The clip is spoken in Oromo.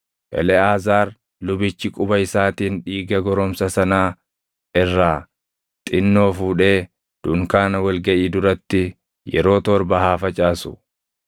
Eleʼaazaar lubichi quba isaatiin dhiiga goromsa sanaa irraa xinnoo fuudhee dunkaana wal gaʼii duratti yeroo torba haa facaasu.